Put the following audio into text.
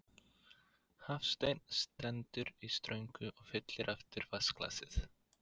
Hafsteinn stendur í ströngu og fyllir aftur vatnsglasið.